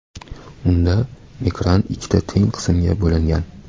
Unda ekran ikkita teng qismga bo‘lingan.